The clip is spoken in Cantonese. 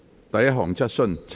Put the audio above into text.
第一項質詢。